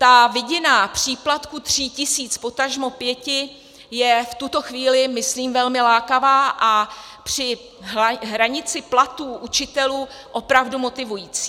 Ta vidina příplatku tří tisíc, potažmo pěti, je v tuto chvíli myslím velmi lákavá a při hranici platů učitelů opravdu motivující.